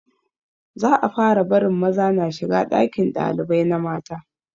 Za a fara barin maza na shiga ɗakin ɗalibai na mata